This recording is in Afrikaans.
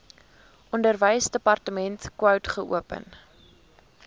onderwysdepartement wkod geopen